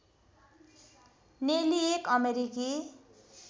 नेली एक अमेरिकी